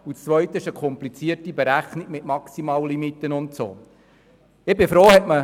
Zudem würde eine komplizierte Rechnung mit maximalen Limits entstehen.